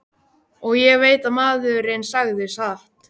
Og ég veit að maðurinn sagði satt.